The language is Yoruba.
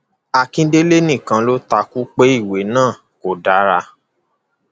akíndélé nìkan ló ta kú pé ìwé náà kò dára